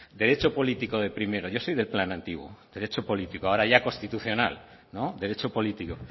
derecho político de primero yo soy del plan antiguo derecho político ahora ya constitucional no derecho político